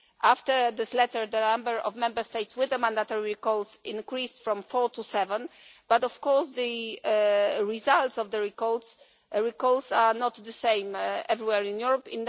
After this letter the number of Member States with mandatory recalls increased from four to seven, but of course the results of the recalls are not the same everywhere in Europe.